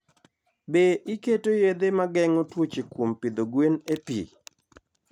Be iketo yedhe ma geng'o tuoche kuom pidho gwen e pi?